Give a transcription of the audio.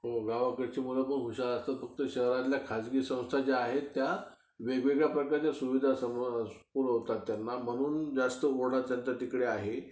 हो, गावाकडची मुलं खूप हुशार असतात, शहरातल्या खाजगी संस्था ज्या आहेत त्या, वेगवेगळ्या प्रकारच्या सुविधा पुरवतात त्यांना म्हणून जास्त ओढा त्यांचा तिकडे आहे.